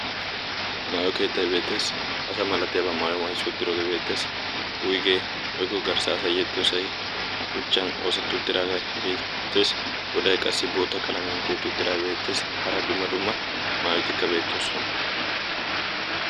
maayo keettay beettees, asa malatiyaaba maayuwa mayssi uttidooge beettees. wuygge woykko garssa asay yexxiyoosay shuchcan oosetti uttidaagee beettees. goday qassi boota qalamiyaan tiyyetti uttidaagee beettees. hara qassi dumma dumma maayotikka beettoosona.